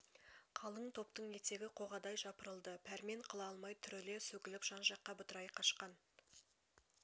қалың топтың етегі қоғадай жапырылды пәрмен қыла алмай түріле сөгіліп жан-жаққа бытырай қашқан